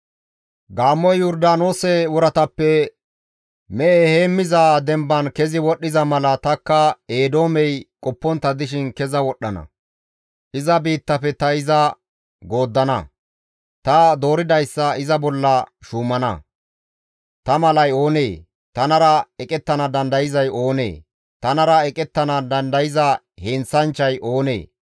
GODAY, «Gaammoy Yordaanoose woratappe mehe heemmiza demban kezi wodhdhiza mala tanikka Eedoomey qoppontta dishin keza wodhdhana; iza biittafe ta iza gooddana; ta dooridayssa iza bolla shuumana; ta malay oonee? tanara eqettana dandayzay oonee? tanara eqettana dandayza heenththanchchay oonee?» gees.